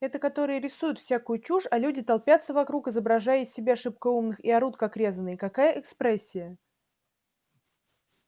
это которые рисуют всякую чушь а люди толпятся вокруг изображая из себя шибко умных и орут как резаные какая экспрессия